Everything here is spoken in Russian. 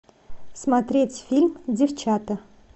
смотреть фильм девчата